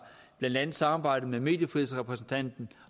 blandt andet samarbejdet med mediefrihedsrepræsentanten